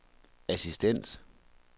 assistent